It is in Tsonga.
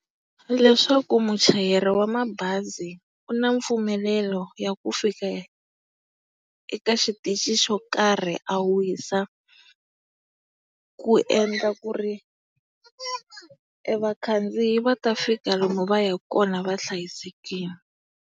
Leswaku muchayeri wa mabazi u na mpfumelelo ya ku fika eka xitichi xo karhi a wisa, ku endla ku ri e vakhandziyi va ta fika lomu va yaka kona vahlayisekile.